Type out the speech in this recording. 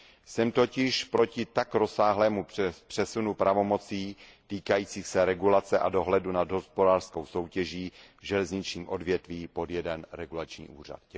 Jsem totiž proti tak rozsáhlému přesunu pravomocí týkajících se regulace a dohledu nad hospodářskou soutěží v železničním odvětví pod jeden regulační úřad.